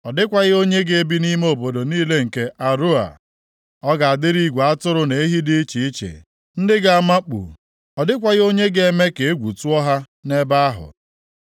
Ọ dịkwaghị onye ga-ebi nʼime nʼobodo niile nke Aroea, ọ ga-adịrị igwe atụrụ na ehi dị iche iche, ndị ga-amakpu, ọ dịkwaghị onye ga-eme ka egwu tụọ ha nʼebe ahụ.